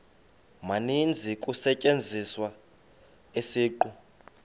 maninzi kusetyenziswa isiqu